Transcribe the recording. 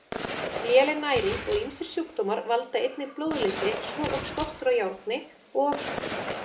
Léleg næring og ýmsir sjúkdómar valda einnig blóðleysi svo og skortur á járni og